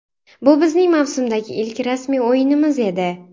Bu bizning mavsumdagi ilk rasmiy o‘yinimiz edi.